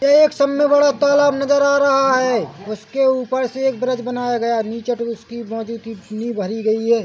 एक साम्मे बड़ा तालाब नजर आ रहा है उसके ऊपर से एक ब्रिज बनाया गया है नीचे टूरिस्ट की मौजू की नी भरी गयी है।